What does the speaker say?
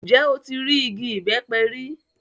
Njẹ o ti rii igi ibẹpẹ ri?